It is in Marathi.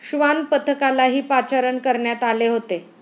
श्वानपथकालाही पाचारण करण्यात आले होते.